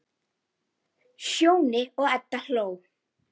Sjóni og Edda hló.